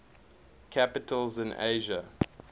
capitals in asia